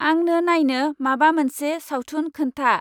आंंनो नायनो माबा मोनसे सावथुन खोनथा।